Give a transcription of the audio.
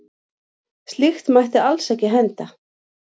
Slíkt mætti alls ekki henda.